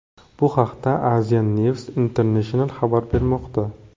Bu haqda Asian News International xabar bermoqda .